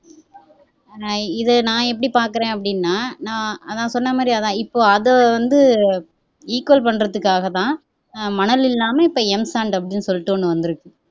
ஹம் இதை நான் எப்படி பார்க்கிறேன் அப்படின்னா நான் நான் சொன்னமாதிரி இப்ப அதை வந்து equal பண்றதுக்காகதான் மணல் இல்லாம இப்ப m sand அப்படின்னு சொல்லிட்டு ஒண்ணு வந்துருக்கு